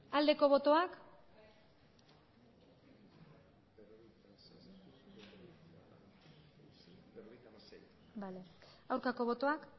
aldeko botoak aurkako botoak